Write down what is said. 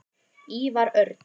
Ívar Örn.